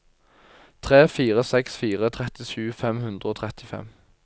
tre fire seks fire trettisju fem hundre og trettifem